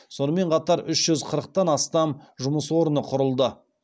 сонымен қатар үш жүз қырықтан астам жұмыс орны құрылды